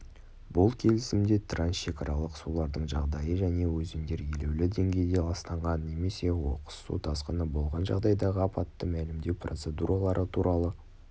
бұл келісімде трансшекаралық сулардың жағдайы және өзендер елеулі деңгейде ластанған немесе оқыс су тасқыны болған жағдайдағы апатты мәлімдеу процедуралары туралы